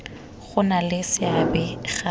go nna le seabe ga